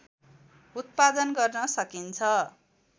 उत्पादन गर्न सकिन्छ